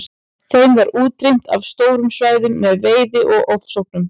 Þeim var útrýmt af stórum svæðum með veiði og ofsóknum.